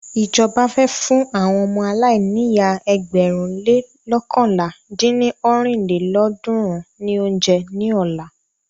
Ìjọba fẹ́ fún àwọn ọmọ aláìníyá ẹgbẹ̀rún le loókànlá dín ní ọ́rin lélọ́ọ̀dúnrún ní óúnjẹ ní ọ̀la.